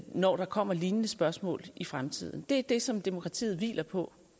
når der kommer lignende spørgsmål i fremtiden det er det som demokratiet hviler på